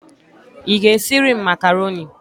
Ị ga-esiri m makaroni?